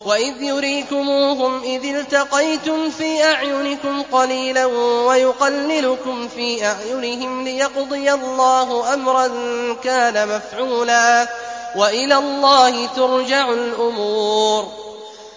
وَإِذْ يُرِيكُمُوهُمْ إِذِ الْتَقَيْتُمْ فِي أَعْيُنِكُمْ قَلِيلًا وَيُقَلِّلُكُمْ فِي أَعْيُنِهِمْ لِيَقْضِيَ اللَّهُ أَمْرًا كَانَ مَفْعُولًا ۗ وَإِلَى اللَّهِ تُرْجَعُ الْأُمُورُ